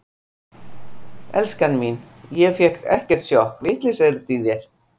Elskan mín, ég fékk ekkert sjokk, vitleysa er þetta í þér!